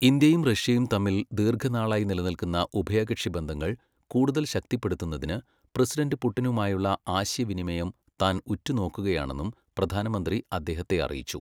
ഇന്ത്യയും റഷ്യയും തമ്മിൽ ദീർഘനാളായി നിലനിൽക്കുന്ന ഉഭയകക്ഷി ബന്ധങ്ങൾ കൂടുതൽ ശക്തിപ്പെടുത്തുന്നതിന് പ്രസിഡന്റ് പുട്ടിനുമായുള്ള ആശയവിനിമയം താൻ ഉറ്റുനോക്കുകയാണെന്നും പ്രധാനമന്ത്രി അദ്ദേഹത്തെ അറിയിച്ചു.